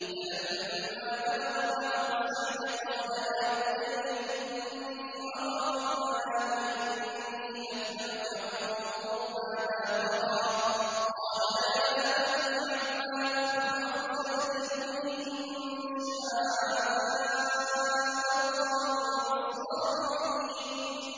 فَلَمَّا بَلَغَ مَعَهُ السَّعْيَ قَالَ يَا بُنَيَّ إِنِّي أَرَىٰ فِي الْمَنَامِ أَنِّي أَذْبَحُكَ فَانظُرْ مَاذَا تَرَىٰ ۚ قَالَ يَا أَبَتِ افْعَلْ مَا تُؤْمَرُ ۖ سَتَجِدُنِي إِن شَاءَ اللَّهُ مِنَ الصَّابِرِينَ